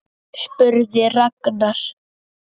spurði Ragnar.